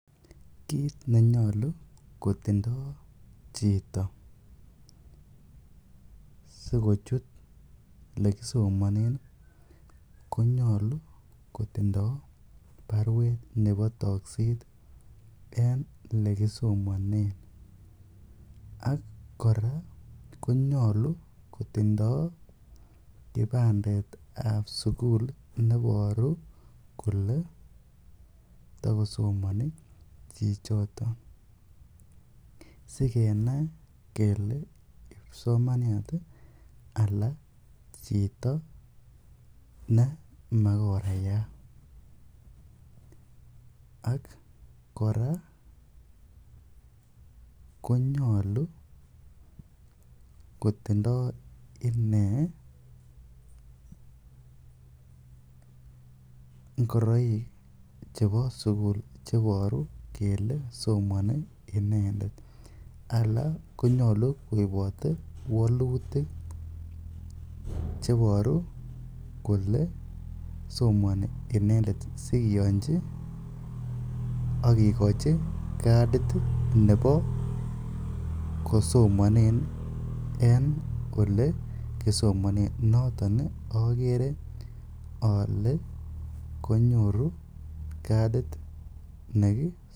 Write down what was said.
Kiit nenyolu kotindo chito sikochut ele kisomonen konyolu kotindo barwet nebo tokset en ele kisomanen. Ak kora konyolu kotindo kipandet ab sugul nenyolu kole takosomani chichoto sikenai kele kipsomaniat ala chito nemakorayat ak kora konyolu kotindo ine ngoroik chebo sugul che iboru kole somon inendet ala konyolu koibote walutik cheiboru kole somoni inendet sikiyonji ak kigochi kadit nebo kosomanenen en ole kisomanen. Noton ogere ale konyoru kadit.